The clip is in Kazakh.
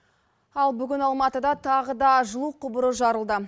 ал бүгін алматыда тағы да жылу құбыры жарылды